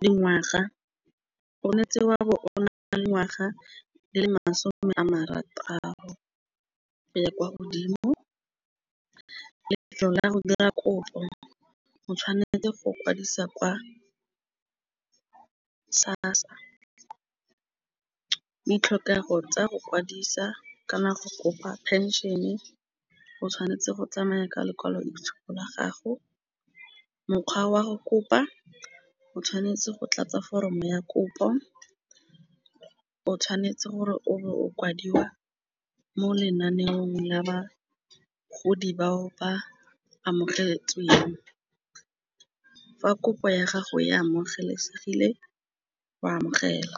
dingwaga gone tsewa bo ona le ngwaga le masome a marataro ya kwa godimo lefelo la go dira kopo. O tshwanetse go kwadisa kwa SASSA ditlhokego tsa go kwadisa ka nako kopa phenšene e o tshwanetse go tsamaya ka lekwalo tshupo la gago. Mokgwa wa go kopa o tshwanetse go tlatsa foromo ya kopo o tshwanetse gore o bo o kwadiwa mo lenaneong la bagodi bao ba amogetsweng. Fa kopo ya gago ya amogelesegile o amogela.